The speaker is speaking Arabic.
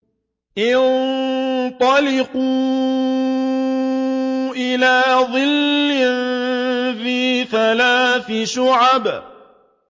انطَلِقُوا إِلَىٰ ظِلٍّ ذِي ثَلَاثِ شُعَبٍ